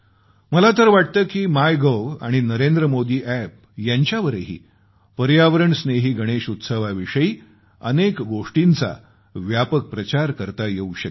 मला तर वाटतं की मायगव्ह आणि नरेंद्र मोदी अॅप यांच्यावरही पर्यावरण स्नेही गणेश उत्सवाविषयी अनेक गोष्टींचा व्यापक प्रचार करता येवू शकेल